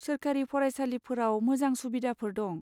सोरखारि फरायसालिफोराव मोजां सुबिदाफोर दं।